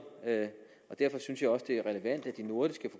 og derfor synes jeg også det er relevant at de nordiske